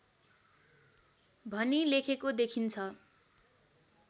भनी लेखेको देखिन्छ